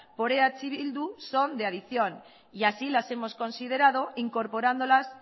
por eh bildu son de adicción y así las hemos considerado incorporándolas